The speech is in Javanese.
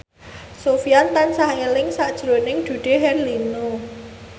Sofyan tansah eling sakjroning Dude Herlino